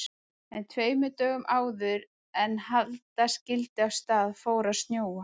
En tveimur dögum áður en halda skyldi af stað fór að snjóa.